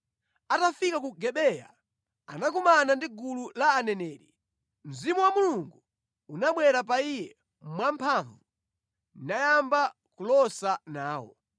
Atafika ku Gibeya, anakumana ndi gulu la aneneri. Mzimu wa Mulungu unabwera pa iye mwamphamvu, nayamba kulosa nawo.